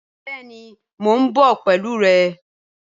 Bẹẹni Mo n bọ pẹlu rẹ.